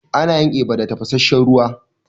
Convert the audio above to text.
Ana yin eba da tafasasshen ruwa.